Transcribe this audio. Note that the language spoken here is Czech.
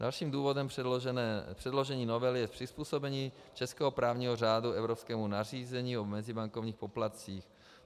Dalším důvodem předložení novely je přizpůsobení českého právního řádu evropskému nařízení o mezibankovních poplatcích.